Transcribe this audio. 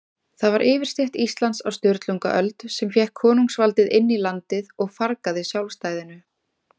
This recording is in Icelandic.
Það var yfirstétt Íslands á Sturlungaöld, sem fékk konungsvaldið inn í landið og fargaði sjálfstæðinu.